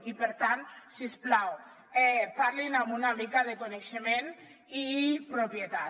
i per tant si us plau parlin amb una mica de coneixement i propietat